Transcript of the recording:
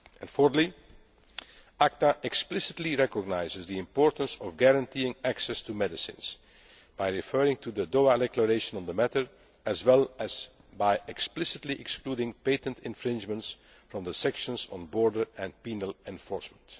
Fourthly, ACTA explicitly recognises the importance of guaranteeing access to medicines, by referring to the Doha Declaration on the matter, as well as by explicitly excluding patent infringements from the sections on border and penal enforcement.